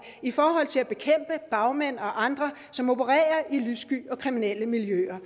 i forhold til at bekæmpe bagmænd og andre som opererer i lyssky og kriminelle miljøer